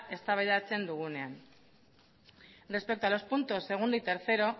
eztabaidatzen dugunean respecto a los puntos segundo y tercero